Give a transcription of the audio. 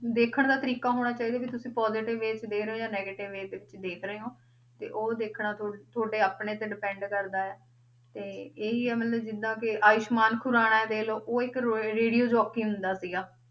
ਦੇਖਣ ਦਾ ਤਰੀਕਾ ਹੋਣਾ ਚਾਹੀਦਾ ਵੀ ਤੁਸੀਂ positive way 'ਚ ਦੇ ਰਹੇ ਹੋ ਜਾਂ negative way 'ਚ ਦੇਖ ਰਹੇ ਹੋ, ਤੇ ਉਹ ਦੇਖਣਾ ਥੋ~ ਤੁਹਾਡੇ ਆਪਣੇ ਤੇ depend ਕਰਦਾ ਹੈ, ਤੇ ਇਹੀ ਹੈ ਮਤਲਬ ਜਿੱਦਾਂ ਕਿ ਆਯੁਸਮਾਨ ਖੁਰਾਨਾ ਦੇਖ ਲਓ, ਉਹ ਇੱਕ ਰੋਏ radio jockey ਹੁੰਦਾ ਸੀਗਾ,